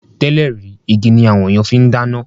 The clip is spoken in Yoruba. Tẹ́lẹ̀ rí, igi ni àwọn ènìyàn fi ń dáná